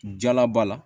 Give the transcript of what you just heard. Jalaba la